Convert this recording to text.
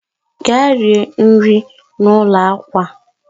gaa rie nri n'ụlọ akwa